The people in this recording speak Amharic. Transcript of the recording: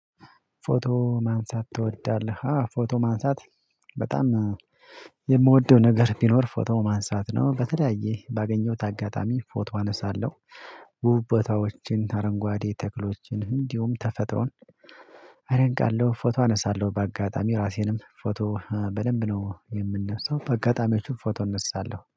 ፎቶ ማንሳት ትወዳለህ? ፎቶ ማንሳት በጣም የምወደው ነገር ቢኖር ፎቶ ማንሳት ነው በተለያየ ባገኘሁት አጋጣሚ ፎቶ አነሳለሁ ቦታዎችን አረንጓዴ ተክሎችን እንዲሁም ተፈጥሮን አደንቃለሁ ፎቶ አነሳለሁ በአጋጣሚ ራሴንም ፎቶ በደንብ ነው የምነሳው በአጋጣሚዎችም ፎቶ እነሳለሁ